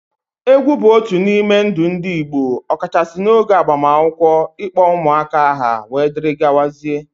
Egwu bụ otu n'ime ndụ ndị Igbo ọkachasị n'oge agbamakwụkwọ, ịkpọ ụmụaka aha, dgz.